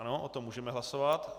Ano, o tom můžeme hlasovat.